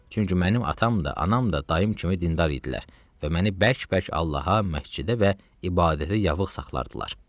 Çünki mənim atam da, anam da dayım kimi dindar idilər və məni bərk-bərk Allaha, məscidə və ibadətə yavıq saxlayırdılar.